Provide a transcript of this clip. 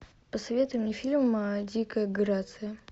посоветуй мне фильм дикая грация